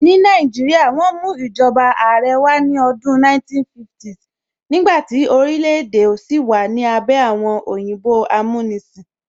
Ní Nàìjíríà, wọ́n mú ìjọba Àrẹ wá ní ọdún 1950s nígbàtí orílẹ̀ èdè sì wà ní abẹ́ àwọn òyìnbó amúnisìn